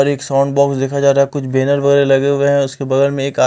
और एक sound box देखा जा रहा है कुछ बैनर वगैरह लगे हुए हैं उसके बगल में एक आ--